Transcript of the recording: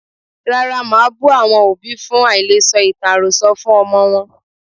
Rárá, màá bú àwọn òbí fún àìle sọ ìtàn àròsọ fún ọmọ wọn.